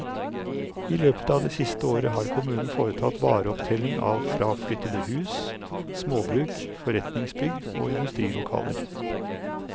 I løpet av det siste året har kommunen foretatt vareopptelling av fraflyttede hus, småbruk, forretningsbygg og industrilokaler.